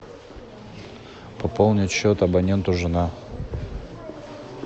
пополнить счет абоненту жена